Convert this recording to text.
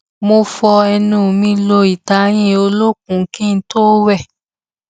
mo fọ ẹnu mi lo ìtayín olókùn kí n tó wẹ